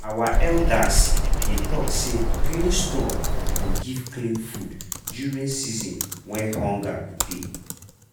our elders dey talk say clean store go give clean food during season wey hunger go dey.